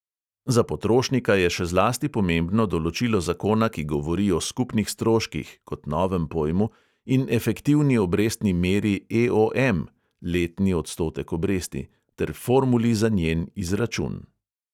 Za potrošnika je še zlasti pomembno določilo zakona, ki govori o skupnih stroških (kot novem pojmu) in efektivni obrestni meri EOM (letni odstotek obresti) ter formuli za njen izračun.